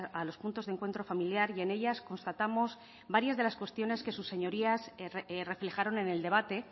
a los puntos de encuentro familiar y en ellas constatamos varias de las cuestiones que sus señorías reflejaron en el debate